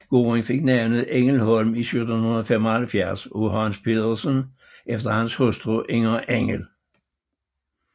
Gården fik navnet Engelholm i 1775 af Hans Petersen efter hans hustru Inger Engel